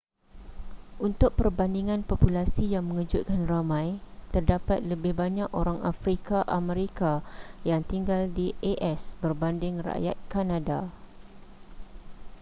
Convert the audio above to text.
untuk perbandingan populasi yang mengejutkan ramai terdapat lebih banyak orang afrika amerika yang tinggal di as berbanding rakyat kanada